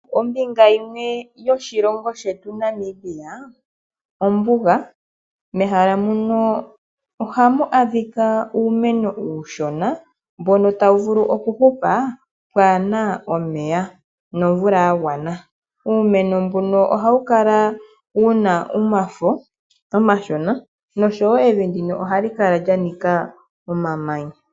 Ombinga yimwe yoshilongo shetu Namibia ombuga. Mehala muno ohamu adhika uumeno uushona mbono tawu vulu okuhupa pwaana omeya nomvula ya gwana. Uumeno mbuno ohawu kala wu na omafo omashona nosho wo evi ndino ohali kala lya nika omamanya.